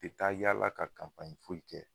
U be taa yala ka foyi kɛ